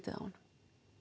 honum